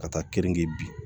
Ka taa keninge bi